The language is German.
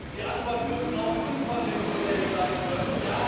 Die Antwort muss auch unkonventionell sein können.